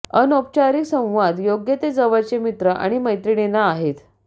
अनौपचारिक संवाद योग्य ते जवळचे मित्र आणि मैत्रिणींना आहेत